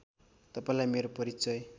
तपाईँलाई मेरो परिचय